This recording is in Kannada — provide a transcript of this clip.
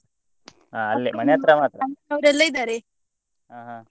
ಹಾ ಹಾ.